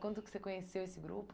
Quando que você conheceu esse grupo?